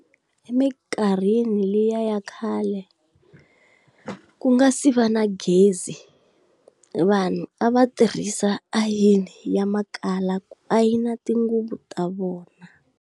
Emikarhini liya ya khale ku nga si va na gezi, vanhu a va tirhisa ayini ya malahla ku ayina tinguvu ta vona.